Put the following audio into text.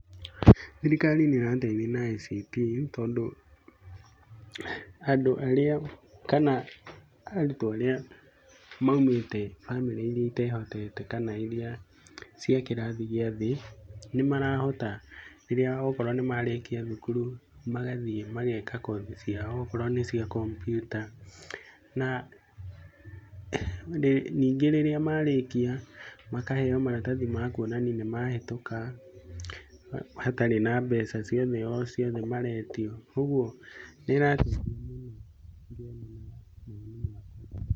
Thirikari nĩ ĩrateithia na ICT, tondũ andũ arĩa kana arutwo aria maũmĩte bamĩrĩ ĩrĩa ĩtehotete, kana iria cia kĩrathi gĩa thĩĩ, nĩ marahota rĩrĩa okorwo nĩ marĩkia thukuru magathiĩ mageka kothi ciao okorwo nĩ cia computer, na ningĩ rĩrĩa marĩkia makaheo maratathi ma kũonania nĩ mahĩtũka hatarĩ na mbeca o ciothe maretio, ũgũo nĩ ĩrateithia mũno.